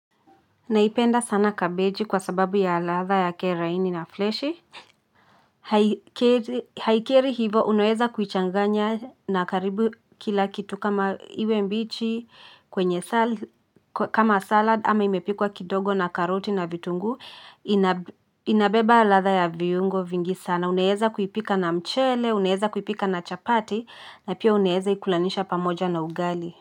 Naipenda sana kabeji kwa sababu ya ladha yake laini na freshi. Haikeri hivo unaweza kuichanganya na karibu kila kitu kama iwe mbichi kwenye, kama salad ama imepikwa kidogo na karoti na vitunguu. Inabeba ladha ya viungo vingi sana. Unaweza kuipika na mchele, unaweza kuipika na chapati na pia unaweza ikulanisha pamoja na ugali.